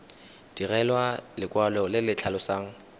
direlwa lekwalo le le tlhalosang